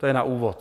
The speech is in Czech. To je na úvod.